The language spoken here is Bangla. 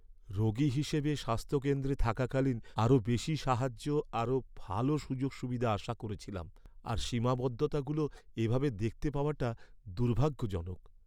রোগী হিসেবে স্বাস্থ্যকেন্দ্রে থাকাকালীন আরও বেশি সাহায্য আর আরও ভালো সুযোগ সুবিধা আশা করেছিলাম, আর সীমাবদ্ধতাগুলো এভাবে দেখতে পাওয়াটা দুর্ভাগ্যজনক।